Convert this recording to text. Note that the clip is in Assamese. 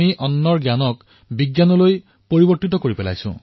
অন্নৰ জ্ঞানৰ আমি বিজ্ঞানলৈ পৰিৱৰ্তি কৰিছো